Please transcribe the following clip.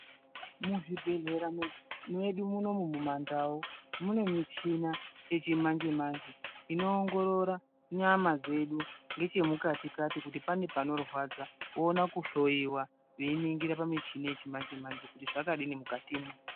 Muzvibhedhlera medu munoumu mumaNdau munemichini yechimanje manje inoogororora nyama dzedu nechemukati kati kuti pane panorwadza voona kuhloyiwa vachiningira pamuchini wechi manje manje kuti zvakadini mukati mwo.